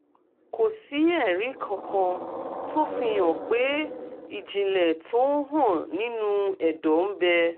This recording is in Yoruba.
kò sí ẹ̀rí kankan tó fi hàn pé ìjìnlẹ̀ tó ń hàn nínú ẹ̀dọ́ ń bẹ